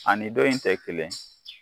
Ani dɔ in tɛ kelen